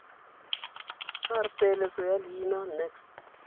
r peeletso ya leina